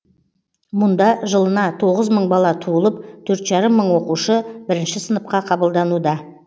мұнда жылына тоғыз мың бала туылып төрт жарым мың оқушы бірінші сыныпқа қабылдануда